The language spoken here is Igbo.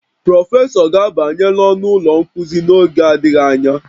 Prọfesọ ga-abanye n'ọnụ ụlọ nkuzi n'oge adịghị anya